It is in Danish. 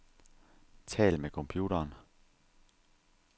Tal med computeren.